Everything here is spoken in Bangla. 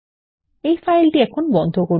এই ফাইলটি এখন বন্ধ করুন